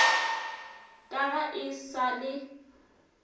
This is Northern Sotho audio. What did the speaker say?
ka ga e sa le